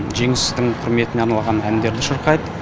жеңістің құрметіне арналған әндерді шырқайды